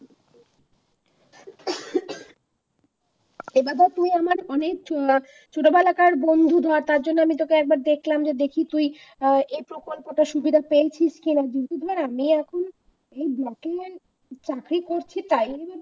এবার ধর তুই আমার অনেক ছোটবেলাকার বন্ধু ধর তার জন্য তোকে একবার দেখলাম দেখি তুই আহ এই প্রকল্প টার সুযোগ সুবিধাপেয়েছিস কি রকম document সঠিক হচ্ছে তাই